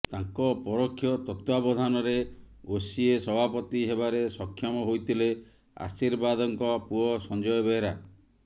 ତାଙ୍କ ପରୋକ୍ଷ ତତ୍ୱାବଧାନରେ ଓସିଏ ସଭାପତି ହେବାରେ ସକ୍ଷମ ହୋଇଥିଲେ ଆଶୀର୍ବାଦଙ୍କ ପୁଅ ସଞ୍ଜୟ ବେହେରା